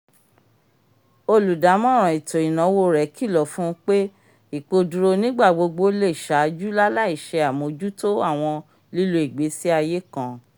olùdámọ̀ràn ètó ìnáwó rẹ kilọ fun n pe ipoduro n'igbagbogbo le ṣáájú lalai se amojuto awọn lílo ìgbésí ayé kan